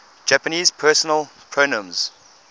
japanese personal pronouns